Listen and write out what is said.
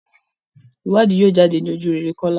ìwádìí yíò jáde ní ojurere Kola.